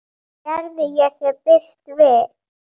Gerði ég þér bylt við?